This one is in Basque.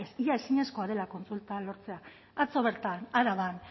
ia ezinezkoa dela kontsultak lortzea atzo bertan araban